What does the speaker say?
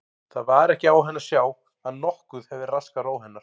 Það var ekki á henni að sjá að nokkuð hefði raskað ró hennar.